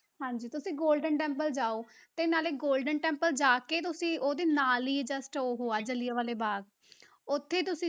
ਹਾਂਜੀ ਤੁਸੀਂ golden temple ਜਾਓ, ਤੇ ਨਾਲੇ golden temple ਜਾ ਕੇ ਤੁਸੀਂ ਉਹਦੇ ਨਾਲ ਹੀ just ਉਹ ਹੈ, ਜ਼ਿਲਿਆ ਵਾਲੇ ਬਾਗ਼, ਉੱਥੇ ਤੁਸੀਂ